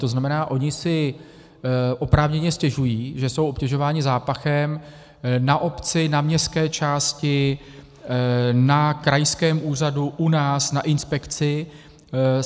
To znamená, oni si oprávněně stěžují, že jsou obtěžováni zápachem, na obci, na městské části, na krajském úřadu, u nás, na inspekci.